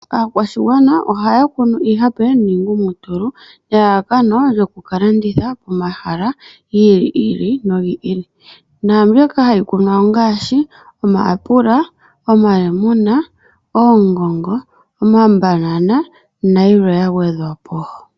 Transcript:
Akwashingwana ohaya kunu iihape ningumutulu nelalakano lyokukalanditha komahala gili nogili nambyoka hayi kunwa ongaashi: omayapula, omalemune, ongongo, omambanana nayimwe yangwedhwapo.